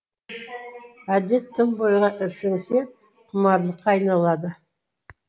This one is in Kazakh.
әдет тым бойға сіңсе құмарлыққа айналады